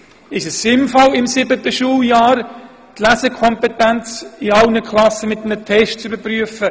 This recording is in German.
Vielleicht ist es sinnvoll, in allen Klassen im siebten Schuljahr die Lesekompetenz mit einem Test zu prüfen.